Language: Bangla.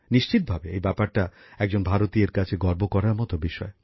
নিশ্চিতভাবে এই বিষয়টা একজন ভারতীয়ের কাছে গর্ব করার মত ব্যাপার